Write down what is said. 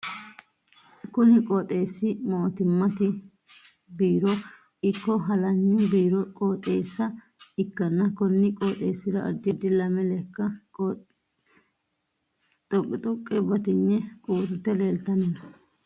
Kunni qooxeesi mootimmate biiro iko halanyu biiro qooxeessa ikanna konni qooxeesira addi addi lame leka xoqixoqe batinye uurite leeltanni no